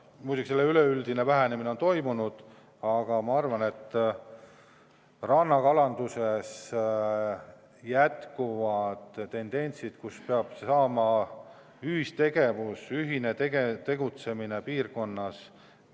Muidugi selle üleüldine vähenemine on toimunud, aga ma arvan, et rannakalanduses on tendents ühistegevusele, ühisele tegutsemisele piirkonnas.